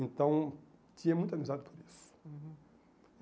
Então, tinha muita amizade por isso. Uhum